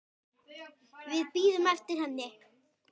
Við bíðum eftir henni